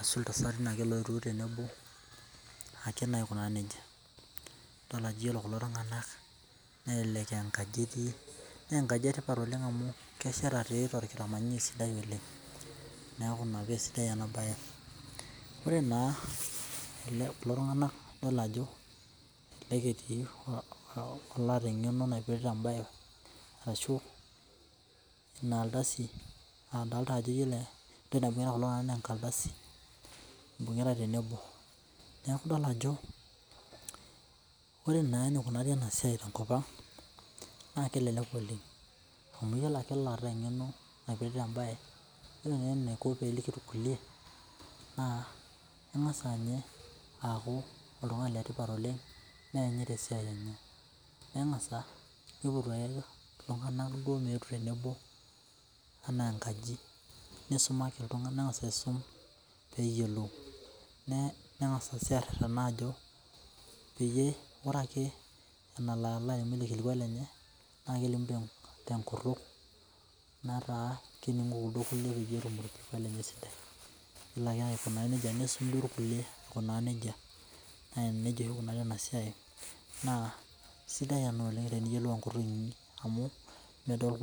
ashu ltasati oetuo tenebo akee naa aikunaa nejia idolta ajo ore kulo tunganak nelelek aa enkaji etii nelelek aa enkaji etipat oleng amu kesheta sidai oleng neaku ina pee esidai enabae ore naa kulo tunganak idol ajo oloota engeno naipirta embae ashu inardasi n iyolo enaibungita kulo tunganak naa enkardasi ibungita eltenebo neaku idol ajo ore enikunari enasia tenkopang naa kelelek oleng amu iyolo ake ollota engeno naipirta embae ore eniko peliki irkuelie naa ingasa nyee aaku oltungani letipat oleng neanyit esiai enye nengasa nipotu ltunganak meetu tenebo anaa enkaji nisumaki ltunganak peyiolou nengasa si arerena ajopeyie ore adake enaloalimu ele kilikuai lenye na kelimu tenkutum nataa keningo kulidi kulie nelo aikunaa n jia nisum irkuelie aikunaa nejia nejia oshi ikunari enasia na sidai ena teniyiolou enkutuk inyi amu medol.